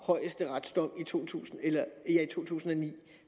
højesteretsdommen i to tusind tusind og ni